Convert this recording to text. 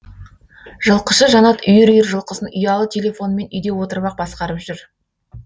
жылқышы жанат үйір үйір жылқысын ұялы телефонымен үйде отырып ақ басқарып жүр